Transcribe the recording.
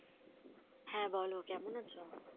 হ্যাঁ বলো কেমন আছো?